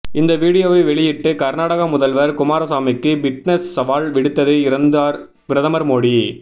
இந்த வீடியோவை வெளியிட்டு கர்நாடக முதல்வர் குமாரசாமிக்கு பிட்னஸ் சவால் விடுத்தது இருந்தார் பிரதமர் மோடி